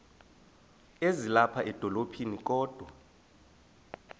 ezilapha edolophini kodwa